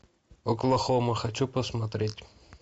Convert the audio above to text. оклахома хочу посмотреть